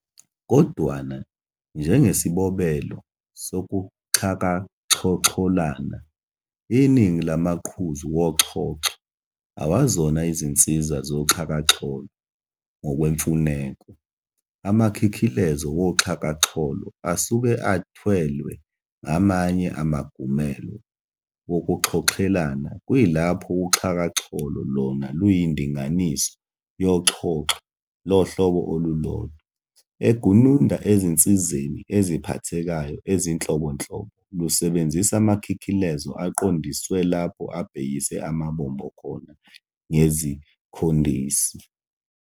Kodwana, njengesibobelo sokuxhakaxhoxholana, iningi lamaqhuzu woxhoxho awazona izinsiza zoxhakaxholo ngokwemfuneko, amakhikhilezo woxhakaxholo asuke athwelwe ngamanye amagumelo wokuxhoxhelana kuyilapho uxhakaxholo lona luyindinganiso yoxhoxho lohlobo olulodwa, egununda ezinsizeni eziphathekayo ezinhlobonhlobo, lusebenzisa amakhikhilezo aqondiswe lapho abhekise amabombo khona ngezikhondisi.